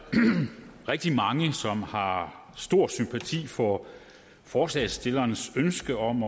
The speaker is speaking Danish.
rigtig mange som har stor sympati for forslagsstillernes ønske om